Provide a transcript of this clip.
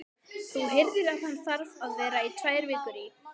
Þú heyrðir að hann þarf að vera tvær vikur í